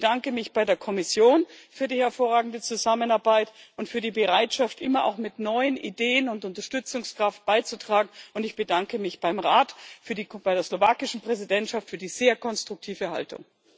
Ich bedanke mich bei der Kommission für die hervorragende Zusammenarbeit und für die Bereitschaft, immer auch mit neuen Ideen und Unterstützungskraft beizutragen, und ich bedanke mich beim Rat, bei der slowakischen Präsidentschaft, für die sehr konstruktive Haltung.